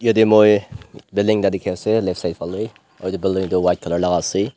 yatae moi building ekta dikhiase left side falae aru edu building tu white colour laka ase.